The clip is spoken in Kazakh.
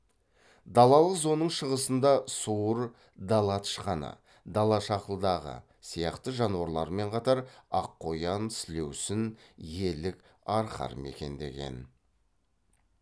далалық зонаның шығысында суыр дала тышқаны дала шақылдағы сияқты жануарлармен қатар аққоян сілеусін елік арқар мекендеген